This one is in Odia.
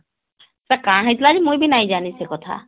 ତାର କାଁ ହେଇଥିଲା ଯେ ମୁଇଁ ବି ନାଇଁ ଜାଣେ ସେକଥା